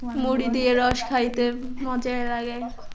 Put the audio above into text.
মুড়ি দিয়ে রস খাইতে মজাই লাগে